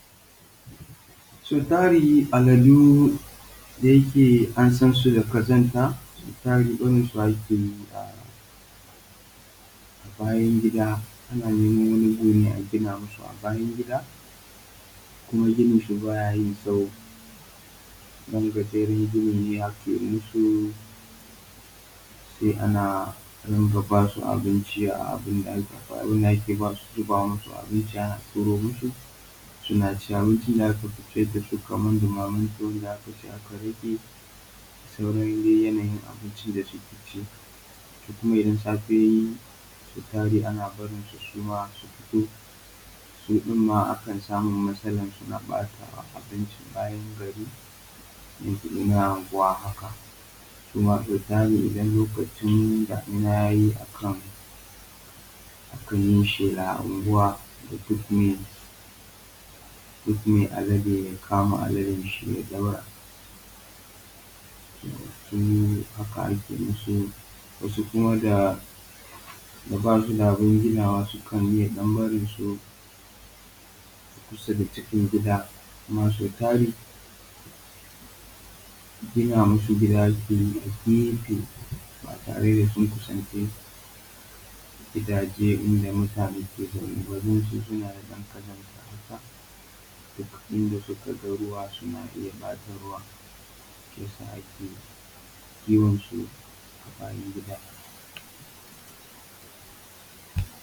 Sau tari al’adu da yake an san su da ƙazanta, sau tari barin su ake yi a bayan gida, ana neman wani guri agina masu a bayan gida, kuma ginin su ba yayin tsawo, ɗan gajeren gini ne ake musu sai a ringa ba su abinci ana turo masu suna ci. Abincin da aka fi ciyar da su kaman ɗumamen tuwo da aka ci aka rage da dai sauran yanayin abincin da suke ci. To kuma idan safe tayi, sau tari ana barin su su fito su ɗin ma ana samun matsalan su na ɓata abinci a bayan gari ko cikin anguwa haka, sau tari idan damuna tayi akan yi shela a anguwa duk mai alade ya kama aladan shi ya ɗaure. Haka ake masu, wasu kuma da ba su da abun ginawa sukan iya ɗan barin su kusa da cikin gida. Kuma sau tari gina masu gida ake yi a gefe ba tare da sun kusanci gidaje ba inda mutane suke zaune, da yake suna da ɗan ƙazanta haka duk inda suka ga ruwa suna iya ɓata ruwan, shi yasa ake kiwon su a bayan gida.